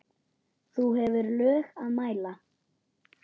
þú hefur lög að mæla